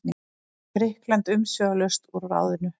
Grikkland umsvifalaust úr ráðinu.